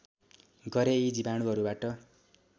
गरे यी जीवाणुहरूबाट